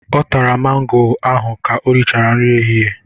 Ọ tara mango ahụ ka o rịchara nri ehịhịe.